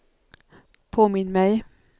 påminn mig